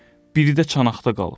Biri də çanaqda qalıb.